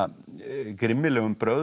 grimmilegum brögðum það